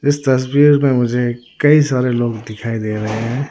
इस तस्वीर में मुझे कई सारे लोग दिखाई दे रहे हैं।